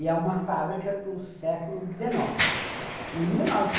E é uma fábrica do século dezenove.